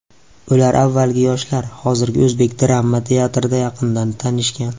Ular avvalgi Yoshlar, hozirgi O‘zbek Drama teatrida yaqindan tanishgan.